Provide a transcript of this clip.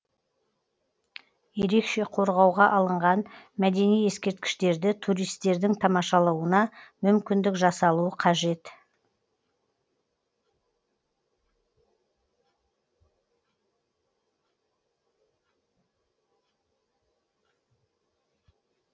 ерекше қорғауға алынған мәдени ескерткіштерді туристердің тамашалауына мүмкіндік жасалуы қажет